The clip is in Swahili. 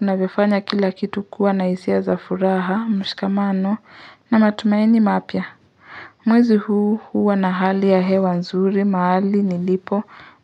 inavyofanya kila kitu kuwa na hisia za furaha, mshikamano na matumaini mapya. Mwezi huu huwa na hali ya hewa nzuri mahali nilipo